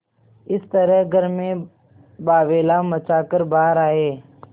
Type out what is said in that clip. इस तरह घर में बावैला मचा कर बाहर आये